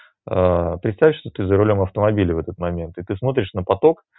представь что ты за рулём автомобиля в этот момент и ты смотришь на поток